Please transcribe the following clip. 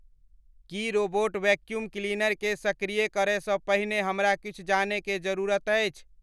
की robot vacuum क्लीनरकें सक्रिय करय सं पहिने हमरा किछु जानय के जरूरत अछि?